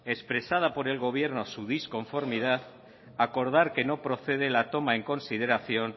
expresada por el gobierno su disconformidad acordar que no procede la toma de consideración